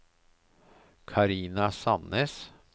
Carina Sannes